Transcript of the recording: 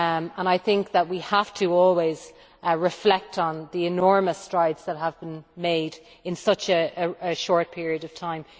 and I think that we have to always reflect on the enormous strides that have been made in such a short period of time.